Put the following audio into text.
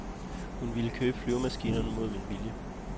Hun ville købe flyvemaskinerne mod min vilje.